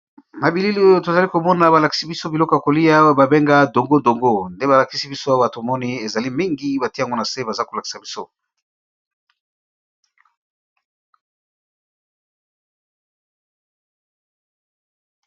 Na bilili oyo tozali komona balakisi biso biloko ya kolia babenga dongo-dongo nde balakisi biso ya bato moni ezali mingi bati yango na se baza kolakisa biso.